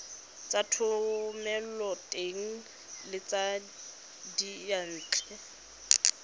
tsa thomeloteng le tsa diyantle